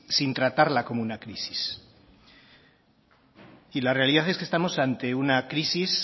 sin tratarla como una crisis y la realidad es que estamos ante una crisis